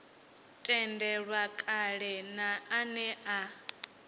tendelwa kale na ane a